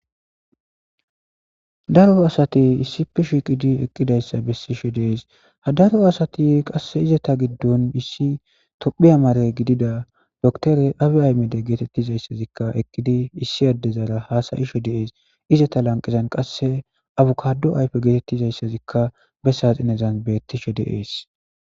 daro asati issife shiqidi eqqidayssa bessishe deees hadaro asati qasse izeta giddon issi tophiya mare gidida doktore abi aymede geetettizayssazikka eqqidi issi addezara haasayisho diees izeta lanqizan qasse abukado ayfe geetettizayssazikka bessaxinezan bettishe diees